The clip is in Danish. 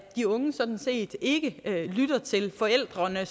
de unge sådan set ikke lytter til forældrene